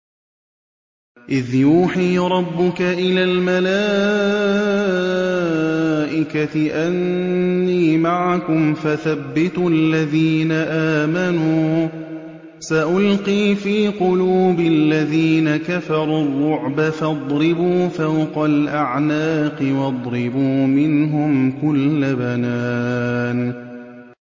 إِذْ يُوحِي رَبُّكَ إِلَى الْمَلَائِكَةِ أَنِّي مَعَكُمْ فَثَبِّتُوا الَّذِينَ آمَنُوا ۚ سَأُلْقِي فِي قُلُوبِ الَّذِينَ كَفَرُوا الرُّعْبَ فَاضْرِبُوا فَوْقَ الْأَعْنَاقِ وَاضْرِبُوا مِنْهُمْ كُلَّ بَنَانٍ